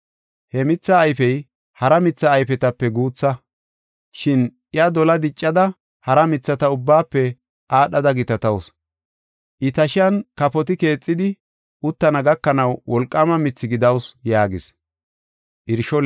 He mithee ayfey hara mitha ayfetape guutha, shin iya dolaa diccida hara mithata ubbaafe aadhada gitatawusu. I tashiyan kafoti keexidi uttana gakanaw wolqaama mithi gidawusu” yaagis.